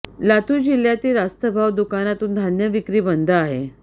लातूर लातूर जिल्ह्यातील रास्तभाव दुकानातून धान्य विक्री बंद आहे